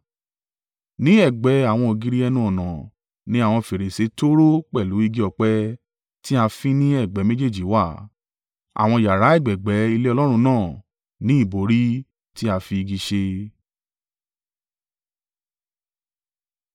Ní ẹ̀gbẹ́ àwọn ògiri ẹnu-ọ̀nà ní àwọn fèrèsé tóóró pẹ̀lú igi ọ̀pẹ tí a fín ní ẹ̀gbẹ́ méjèèjì wà. Àwọn yàrá ẹ̀gbẹ̀ẹ̀gbẹ́ ilé Ọlọ́run náà ni ìbòrí tí a fi igi ṣe.